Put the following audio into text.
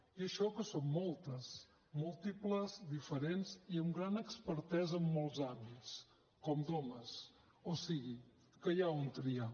i això que som moltes múltiples diferents i amb gran expertesa en molts àmbits com d’homes o sigui que hi ha on triar